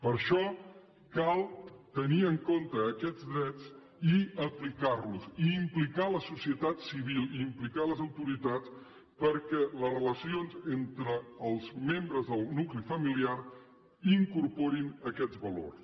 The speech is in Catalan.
per això cal tenir en compte aquests drets i aplicar los i implicar la societat civil i implicar les autoritats perquè les relacions entre els membres del nucli familiar incorporin aquests valors